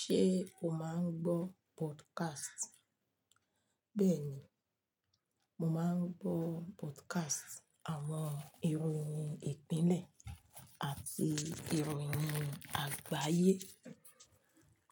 Ṣé o má ń gbọ́ podcast? Bẹ́ẹ̀ni, mo máa ń gbọ́ podcast àwọn ìròyìn ìpínlẹ̀ àti ìròyìn àgbáyé.